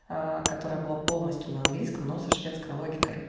которая была полностью на английском но со шведской логикой